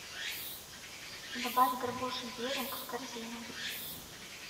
добавь горбушу беринг в корзину